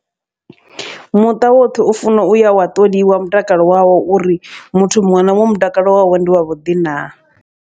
Muṱa woṱhe u funa uya wa ṱoliwa mutakalo wawe uri muthu muṅwe na muṅwe mutakalo wawe ndi wa vhuḓi na.